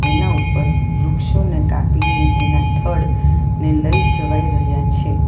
એના ઉપર વૃક્ષોને કાપીને એના થડ ને લઈ જવાઈ રહ્યા છે.